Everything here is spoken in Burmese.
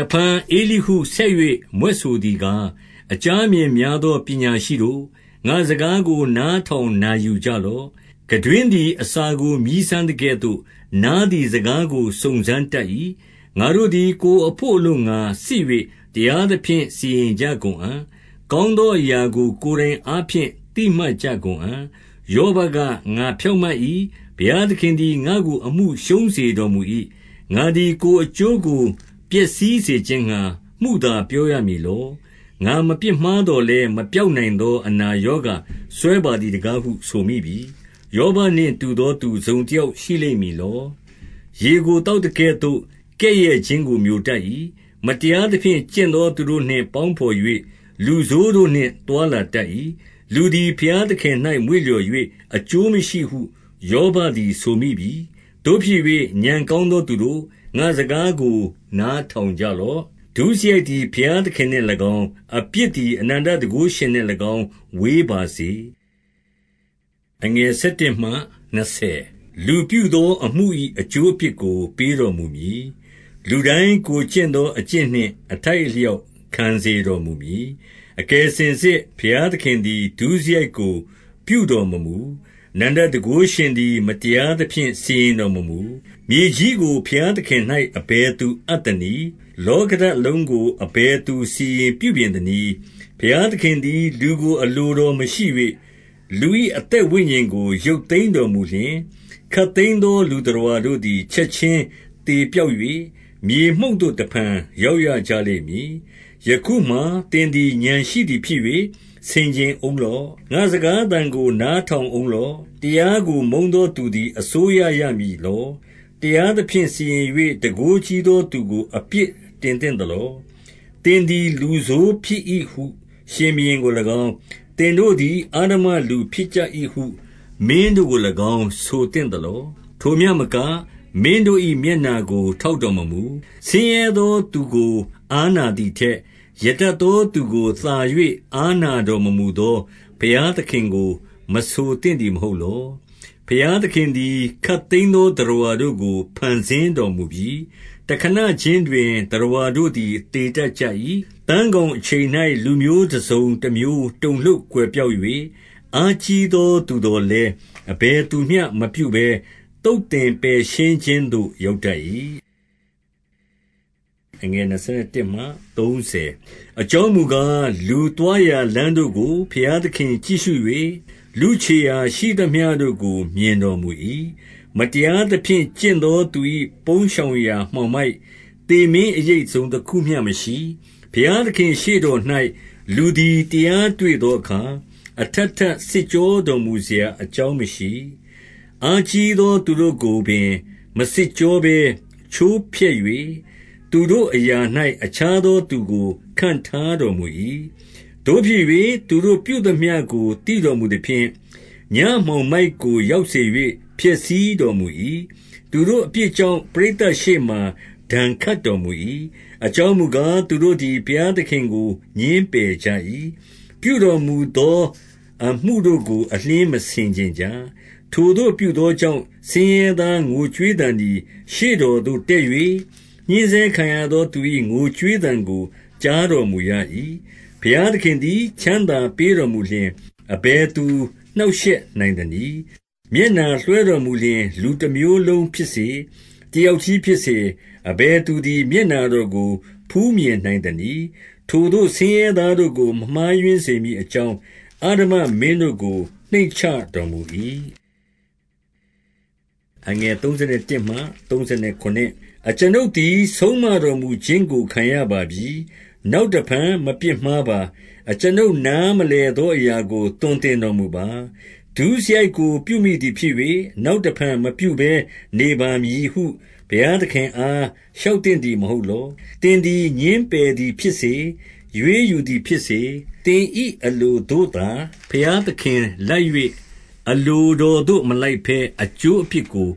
စ်ဖန် ဧလိဟုဆက်၍ မြွက်ဆိုသည်ကား၊ အကြားအမြင်များသော ပညာရှိတို့၊ ငါ့စကားကို နားထောင်နာယူကြလော့။ ခံတွင်းသည် အစာကို မြည်းစမ်းသကဲ့သို့၊ နားသည် စကားကို စုံစမ်းတတ်၏။ ငါတို့သည် ကိုယ်အဖို့အလိုငှာ စစ်၍ တရားသဖြင့် စီရင်ကြကုန်အံ့။ ကောင်းသောအရာကို ကိုယ်တိုင်အားဖြင့် သိမှတ်ကြကုန်အံ့။ ယောဘက၊ ငါဖြောင့်မတ်၏။ ဘုရားသခင်သည် ငါ့ကို အမှုရှုံးစေတော်မူ၏။ ငါသည် ကိုယ်အကျိုးကို ပျက်စီးစေခြင်းငှာ မုသားပြောရမည်လော။ ငါမပြစ်မှားသော်လည်း၊ မပျောက်နိုင်သော အနာရောဂါစွဲပါသည်တကားဟု ဆိုမိပြီ။ ယောဘနှင့်တူသောသူ တစ်စုံတစ်ယောက် ရှိလိမ့်မည်လော။ ရေကို သောက်သကဲ့သို့ ကဲ့ရဲ့ခြင်းကိုမျိုတတ်၏။ မတရားသဖြင့် ကျင့်သောသူတို့နှင့် ပေါင်းဖော်၍၊ လူဆိုးတို့နှင့် သွားလာတတ်၏။ လူသည် ဘုရားသခင်၌ မွေ့လျော်၍၊ အကျိုးမရှိဟု ယောဘသည် ဆိုမိပြီ။ သို့ဖြစ်၍ ဉာဏ်ကောင်းသောသူတို့၊ ငါ့စကားကို နားထောင်ကြလော့။ ဒုစရိုက်သည် ဘုရားသခင်နှင့်လည်းကောင်း၊ အပြစ်သည် အနန္တတန်ခိုးရှင်နှင့်လည်းကောင်း ဝေးပါစေ။ လူပြုသောအမှု၏ အကျိုးအပြစ်ကို ပေးတော်မူမည်။ လူတိုင်း ကိုယ်ကျင့်သောအကျင့်နှင့် အထိုက်အလျောက် ခံစေတော်မူမည်။ အကယ်စင်စစ် ဘုရားသခင်သည် ဒုစရိုက်ကို ပြုတော်မမူ။ အနန္တတန်ခိုးရှင်သည် မတရားသဖြင့် စီရင်တော်မမူ။ မြေကြီးကို ဘုရားသခင်၌ အဘယ်သူအပ်သနည်း။ လောကဓာတ်လုံးကို အဘယ်သူ စီရင်ပြုပြင်သနည်း။ ဘုရားသခင်သည် လူကိုအလိုတော်မရှိ၍၊ လူ၏အသက်ဝိညာဉ်ကို ရုပ်သိမ်းတော်မူလျှင်၊ ခပ်သိမ်းသောလူသတ္တဝါတို့သည် ချက်ချင်းသေပျောက်၍ မြေမှုန့်သို့ တစ်ဖန်ရောက်ရကြလိမ့်မည်။ ယခုမှာသင်သည် ဉာဏ်ရှိသည်ဖြစ်၍ ဆင်ခြင်ဦးလော့။ ငါ့စကားသံကို နားထောင်ဦးလော့။ တရားကို မုန်းသောသူသည် အစိုးရရမည်လော။ တရားသဖြင့် စီရင်၍ တန်ခိုးကြီးသောသူကို အပြစ်တင်သင့်သလော။ သင်သည်လူဆိုးဖြစ်၏ဟု ရှင်ဘုရင်ကိုလည်းကောင်း၊ သင်တို့သည် အဓမ္မလူဖြစ်ကြ၏ဟု မင်းတို့ကိုလည်းကောင်း ဆိုသင့်သလော။ ထိုမျှမက၊ မင်းတို့၏မျက်နှာကို ထောက်တော်မမူ။ ဆင်းရဲသောသူကို အားနာသည်ထက်၊ ရတတ်သောသူကို သာ၍ အားနာတော်မမူသော ဘုရားသခင်ကို မဆိုသင့်သည် မဟုတ်လော။ ဘုရားသခင်သည် ခပ်သိမ်းသောသတ္တဝါတို့ကို ဖန်ဆင်းတော်မူပြီ။ တစ်ခဏချင်းတွင် သတ္တဝါတို့သည် သေတတ်ကြ၏။ သန်းခေါင်အချိန်၌ လူမျိုးတစ်စုံတစ်မျိုး တုန်လှုပ်ကွယ်ပျောက်၍၊ အားကြီးသောသူသော်လည်း အဘယ်သူမျှမပြုဘဲ သုတ်သင်ပယ်ရှင်းခြင်းသို့ ရောက်တတ်၏။ အကြောင်းမူကား၊ လူသွားရာလမ်းတို့ကို ဘုရားသခင်ကြည့်ရှု၍၊ လူခြေရာရှိသမျှတို့ကို မြင်တော်မူ၏။ မတရားသဖြင့် ကျင့်သောသူ၏ပုန်းရှောင်ရာ မှောင်မိုက်၊ သေမင်းအရိပ်တစ်စုံတစ်ခုမျှမရှိ။ ဘုရားသခင့်ရှေ့တော်၌ လူသည် တရားတွေ့သောအခါ၊ အထပ်ထပ်စစ်ကြောတော်မူစရာ အကြောင်းမရှိ။ အားကြီးသောသူတို့ကိုပင် မစစ်ကြောဘဲ ချိုးဖျက်၍၊ သူတို့အရာ၌ အခြားသောသူကို ခန့်ထားတော်မူ၏။ သို့ဖြစ်၍ သူတို့ပြုသမျှကို သိတော်မူသဖြင့်၊ ညမှောင်မိုက်ကို ရောက်စေ၍ ဖျက်ဆီးတော်မူ၏။ သူတို့အပြစ်ကြောင့် ပရိသတ်ရှေ့မှာ ဒဏ်ခတ်တော်မူ၏။ အကြောင်းမူကား၊ သူတို့သည် ဘုရားသခင်ကို ငြင်းပယ်ကြ၏။ ပြုတော်မူသောအမှုတို့ကို အလျှင်းမဆင်ခြင်ကြ။ ထိုသို့ပြုသောကြောင့် ဆင်းရဲသားငိုကြွေးသံသည် ရှေ့တော်သို့ တက်၍၊ ညှဉ်းဆဲခံရသောသူ၏ ငိုကြွေးသံကို ကြားတော်မူရ၏။ ဘုရားသခင်သည် ချမ်းသာပေးတော်မူလျှင် အဘယ်သူနှောင့်ယှက်နိုင်သနည်း။ မျက်နှာလွှဲတော်မူလျှင် လူတစ်မျိုးလုံးဖြစ်စေ၊ တစ်ယောက်တည်းဖြစ်စေ၊ အဘယ်သူသည် မျက်နှာတော်ကို ဖူးမြင်နိုင်သနည်း။ ထိုသို့ ဆင်းရဲသားတို့ကို မမှားယွင်းစေမည်အကြောင်း အဓမ္မမင်းတို့ကို နှိမ့်ချတော်မူ၏။ အကျွန်ုပ်သည် ဆုံးမတော်မူခြင်းကို ခံရပါပြီ။ နောက်တစ်ဖန် မပြစ်မှားပါ။ အကျွန်ုပ် နားမလည်သောအရာကို သွန်သင်တော်မူပါ။ ဒုစရိုက်ကို ပြုမိသည်ဖြစ်၍၊ နောက်တစ်ဖန် မပြုဘဲနေပါမည်ဟု ဘုရားသခင်အား လျှောက်သင့်သည် မဟုတ်လော။ သင်သည် ငြင်းပယ်သည်ဖြစ်စေ၊ ရွေးယူသည်ဖြစ်စေ၊ သင်၏အလိုသို့သာ ဘုရားသခင်လိုက်၍၊ အလိုတော်သို့မလိုက်ဘဲ အကျိုးအပြစ်ကို